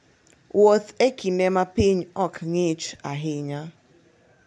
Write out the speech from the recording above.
Wuoth e kinde ma piny ok ng'ich ahinya.